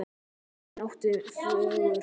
Elín átti fjögur börn.